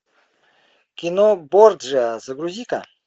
кино борджиа загрузи ка